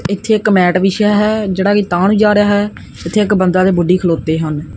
ਇੱਥੇ ਇੱਕ ਮੈਟ ਵਿਛਿਆ ਹੈ ਜਿਹੜਾ ਕਿ ਤਾਂ ਨੂੰ ਜਾ ਰਹਾ ਹੈ ਜਿੱਥੇ ਇੱਕ ਬੰਦਾ ਤੇ ਬੁੱਢੀ ਖਲੋਤੇ ਹਨ।